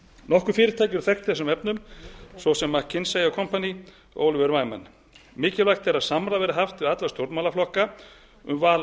nokkur fyrirtæki eru þekkt í þessum efnum svo sem mckinsey og company og oliver wyman mikilvægt er að samráð verði haft við alla stjórnmálaflokka um val á